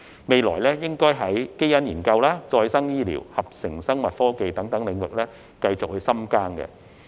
未來可在基因研究、再生醫療、合成生物科技等領域繼續深耕。